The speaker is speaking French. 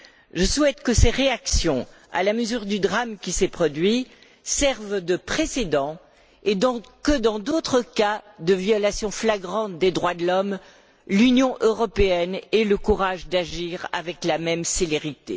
Je souhaite que ces réactions, à la mesure du drame qui s'est produit, servent de précédent et que dans d'autres cas de violations flagrantes des droits de l'homme, l'Union européenne ait le courage d'agir avec la même célérité.